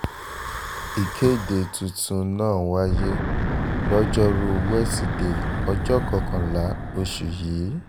ìkéde tuntun náà wáyé lojoruu wesidee ọjọ́ kọkànlá oṣù yìí